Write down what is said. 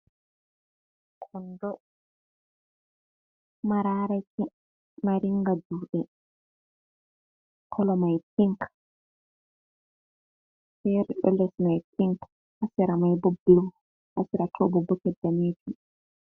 Kondo, mararaki mari nga juɗe, kolomai pink fere ɗo lesmai pink, hasaramaibo bulu, hasaratobo boket danejum.